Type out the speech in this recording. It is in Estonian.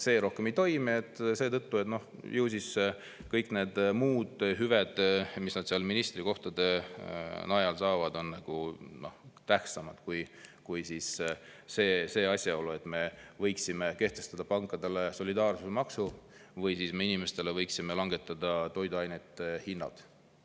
See rohkem ei toimi, seetõttu et ju siis kõik need muud hüved, mis nad seal ministrikohtade najal saavad, on tähtsamad kui see asjaolu, et me võiksime kehtestada pankadele solidaarsusmaksu või inimestele võiksime langetada toiduainete hindu.